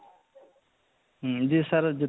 ଯେ sir ଗୋଟେ